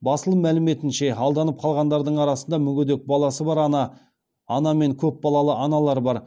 басылым мәліметінше алданып қалғандардың арасында мүгедек баласы бар ана мен көпбалалы аналар бар